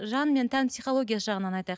жан мен тән писхологиясы жағынан айтайық